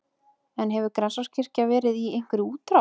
En hefur Grensáskirkja verið í einhverri útrás?